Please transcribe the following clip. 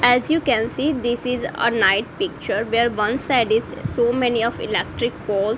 as you can see this is a night picture where one side is so many of electric pole.